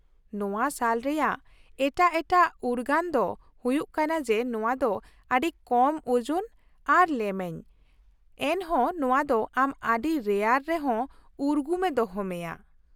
ᱱᱚᱶᱟ ᱥᱟᱞ ᱨᱮᱭᱟᱜ ᱮᱴᱟᱜ ᱮᱴᱟᱜ ᱩᱨᱜᱟᱹᱱ ᱫᱚ ᱦᱩᱭᱩᱜ ᱠᱟᱱᱟ ᱡᱮ ᱱᱚᱶᱟ ᱫᱚ ᱟᱹᱰᱤ ᱠᱚᱢ ᱳᱡᱚᱱ ᱟᱨ ᱞᱮᱢᱮᱧ, ᱮᱱᱦᱚᱸ ᱱᱚᱶᱟ ᱫᱚ ᱟᱢ ᱟᱹᱰᱤ ᱨᱮᱭᱟᱲ ᱨᱮᱦᱚᱸ ᱩᱨᱜᱩᱢᱮ ᱫᱚᱦᱚ ᱢᱮᱭᱟ ᱾